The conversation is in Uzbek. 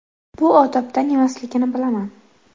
Bu odobdan emasligini bilaman.